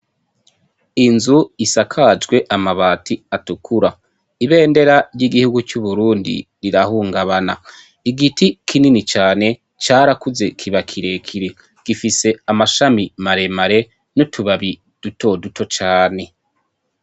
Inzu isakajwe amabati atukura ibendera ry'igihugu c'Uburundi rirahungabana igiti kinini cane carakuze kiba kirekire gifise amashami maremare n'utubabi dutoduto cane.